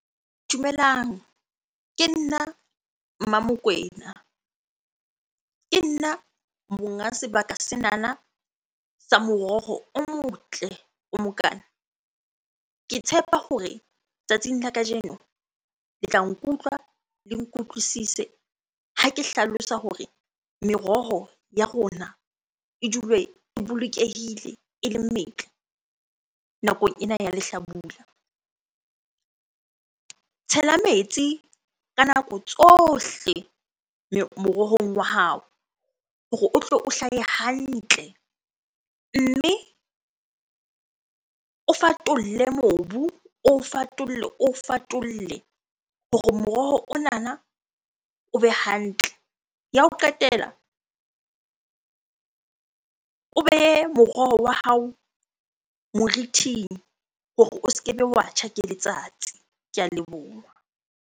Dumelang, ke nna Mmamokwena. Ke nna monga sebaka senana sa moroho o motle o mokana. Ke tshepa hore tsatsing la kajeno le tla nkutlwa le nkutlwisise ha ke hlalosa hore meroho ya rona e dule e bolokehile, ele metle nakong ena ya lehlabula. Tshela metsi ka nako tsohle morohong wa hao hore o tlo o hlahe hantle. Mme o fatolle mobu, o fatolle, o fatolle hore moroho onana o be hantle. Ya ho qetela, o behe moroho wa hao moriting hore o se kebe wa tjha ke letsatsi. Ke a leboha.